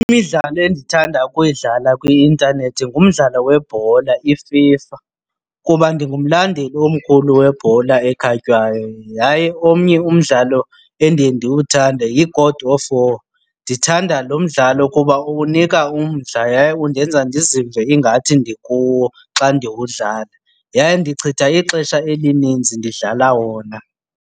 Imidlalo endithanda ukuyidlala kwi-intanethi ngumdlalo webhola iFIFA kuba ndingumlandeli omkhulu webhola ekhatywayo. Yaye omnye umdlalo endiye ndiwuthande yi-God of War. Ndithanda lo mdlalo kuba unika umdla yaye undenza ndizive ingathi ndikuwo xa ndiwudlala yaye ndichitha ixesha elinintsi ndidlala wona.